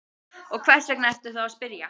Og hvers vegna ertu þá að spyrja?